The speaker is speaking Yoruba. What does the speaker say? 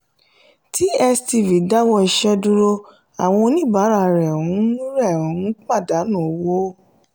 tstv dáwọ́ iṣẹ́ dúró àwọn oníbàárà rẹ̀ ń rẹ̀ ń pàdánù owó.